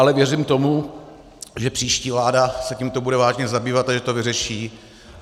Ale věřím tomu, že příští vláda se tímto bude vážně zabývat a že to vyřeší.